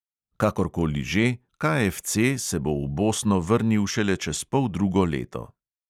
Kakorkoli že, KFC se bo v bosno vrnil šele čez poldrugo leto.